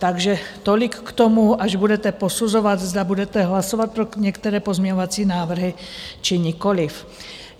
Takže tolik k tomu, až budete posuzovat, zda budete hlasovat pro některé pozměňovací návrhy, či nikoliv.